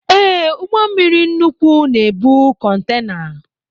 Ee, ụgbọmmiri nnukwu na-ebu kọntena